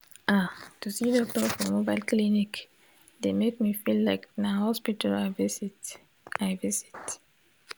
ah to see doctor for mobile clinic dey make me feel like na hospital i visit i visit